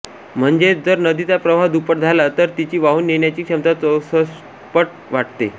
म्हणजेच जर नदीचा प्रवाह दुप्पट झाला तर तिची वाहून नेण्याची क्षमता चौसष्टपट वाढते